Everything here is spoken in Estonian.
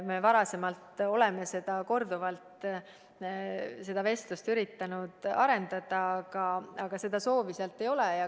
Me oleme varem korduvalt üritanud sellel teemal vestlust arendada, aga seda soovi sealt ei ole olnud.